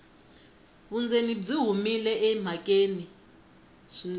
vundzeni byi humile emhakeni swinene